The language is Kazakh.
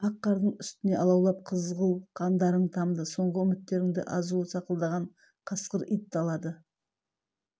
ақ қардың үстіне алаулап қызыл қандарың тамды соңғы үміттеріңді азуы сақылдаған қасқыр ит талады